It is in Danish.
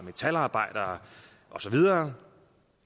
metalarbejdere og så videre